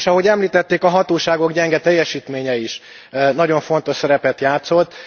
És ahogy említették, a hatóságok gyenge teljesítménye is nagyon fontos szerepet játszott.